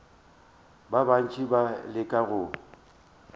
ba bantši ba leka go